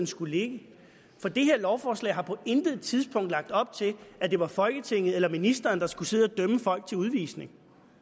skulle ligge for det her lovforslag har på intet tidspunkt lagt op til at det var folketinget eller ministeren der skulle sidde og dømme folk til udvisning